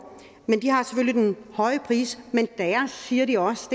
men høje pris men der siger de også